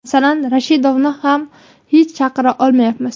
Masalan, Rashidovni ham hech chaqira olmayapmiz.